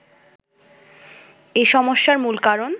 “এ সমস্যার মূল কারণ